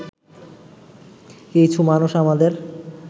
কিছু মানুষ আমাদের